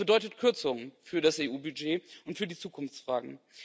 Es bedeutet Kürzungen für das EU Budget und für die Zukunftsfragen.